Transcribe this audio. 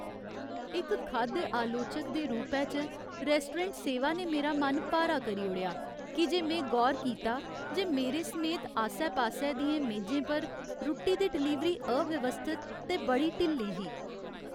इक खाद्य आलोचक दे रूपै च, रैस्टोरेंट सेवा ने मेरा मन भारा करी ओड़ेआ की जे में गौर कीता जे मेरे समेत आस्सै पास्सै दियें मेजें पर रुट्टी दी डलीवरी अव्यवस्थत ते बड़ी ढिल्ली ही।